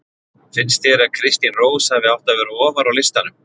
Finnst þér að Kristín Rós hafi átt að vera ofar á listanum?